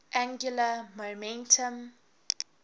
angular momentum